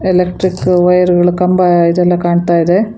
Electric wire ಗಳು ಕಂಬ ಇದೆಲ್ಲಾ ಕಾಣ್ತಾಇದೆ.